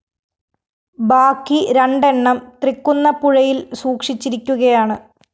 ബാക്കി രണ്ടെണ്ണം തൃക്കുന്നപ്പുഴയില്‍ സൂക്ഷിച്ചിരിക്കുകയാണ്